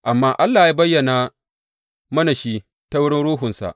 Amma Allah ya bayyana mana shi ta wurin Ruhunsa.